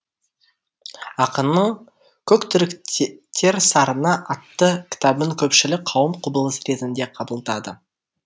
ақынның көк түріктер сарыны атты кітабын көпшілік қауым құбылыс ретінде қабылдады